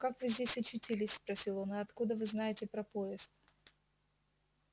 как вы здесь очутились спросил он и откуда вы знаете про поезд